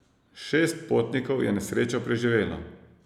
Šest potnikov je nesrečo preživelo.